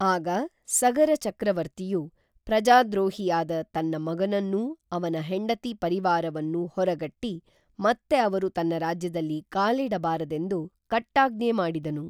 ಆಗ ಸಗರಚಕ್ರವರ್ತಿಯು ಪ್ರಜಾದ್ರೋಹಿಯಾದ ತನ್ನ ಮಗನನ್ನೂ ಅವನ ಹೆಂಡತಿ ಪರಿವಾರವನ್ನೂ ಹೊರಗಟ್ಟಿ ಮತ್ತೆ ಅವರು ತನ್ನ ರಾಜ್ಯದಲ್ಲಿ ಕಾಲಿಡಬಾರದೆಂದು ಕಟ್ಟಾಜ್ಞೆ ಮಾಡಿದನು